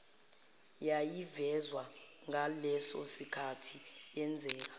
yayivezwa ngalesosikhathi yenzeka